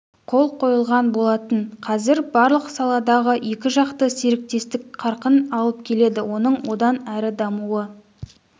қол қойылған болатын қазір барлық саладағы екіжақты серіктестік қарқын алып келеді оның одан әрі дамуы